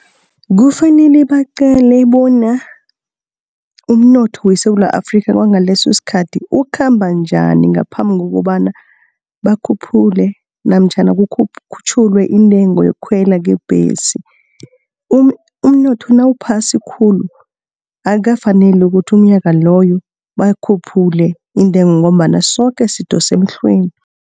Kufanele baqale bona umnotho weSewula Afrika kwangalesosikhathi ukhamba njani, ngaphambi kokobana bakhuphule namtjhana kukhutjhulwe intengo yokukhwelwa kwebhesi. Umnotho nawuphasi khulu akukafaneli ukuthi umnyaka loyo bakhuphule intengo ngombana soke sidosa emhlweni.